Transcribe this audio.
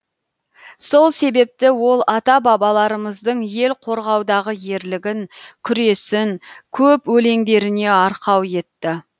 сол себепті ол ата бабаларымыздың ел қорғаудағы ерлігін күресін көп өлеңдеріне арқау етті